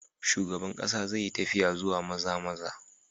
Shugaban kasa zai yi tafiya zuwa Maza-maza.